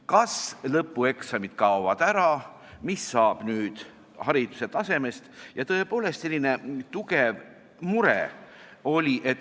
Kas lõpueksamid kaovad ära, mis saab nüüd hariduse tasemest?